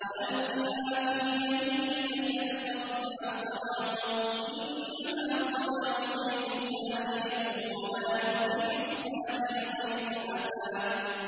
وَأَلْقِ مَا فِي يَمِينِكَ تَلْقَفْ مَا صَنَعُوا ۖ إِنَّمَا صَنَعُوا كَيْدُ سَاحِرٍ ۖ وَلَا يُفْلِحُ السَّاحِرُ حَيْثُ أَتَىٰ